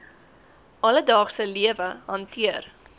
alledaagse lewe hanteer